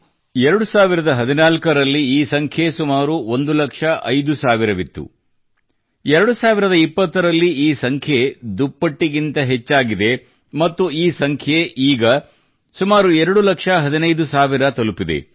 2014 ರಲ್ಲಿ ಈ ಸಂಖ್ಯೆ ಸುಮಾರು 1 ಲಕ್ಷ 5 ಸಾವಿರವಿತ್ತು 2020 ರಲ್ಲಿ ಈ ಸಂಖ್ಯೆ ದುಪ್ಪಟ್ಟಿಗಿಂತ ಹೆಚ್ಚಾಗಿದೆ ಮತ್ತು ಈ ಸಂಖ್ಯೆ ಈಗ ಸುಮಾರು 2 ಲಕ್ಷ 15 ಸಾವಿರ ತಲುಪಿದೆ